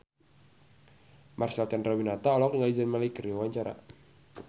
Marcel Chandrawinata olohok ningali Zayn Malik keur diwawancara